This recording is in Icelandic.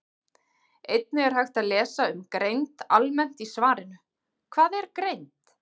Einnig er hægt að lesa um greind almennt í svarinu Hvað er greind?